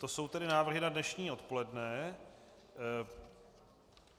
To jsou tedy návrhy na dnešní odpoledne.